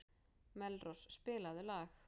Melrós, spilaðu lag.